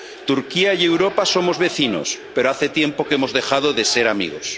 Turquía y Europa somos vecinos, pero hace tiempo que hemos dejado de ser amigos.